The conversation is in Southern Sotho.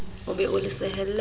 o be o le sehelle